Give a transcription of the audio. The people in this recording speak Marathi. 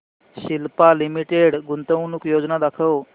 सिप्ला लिमिटेड गुंतवणूक योजना दाखव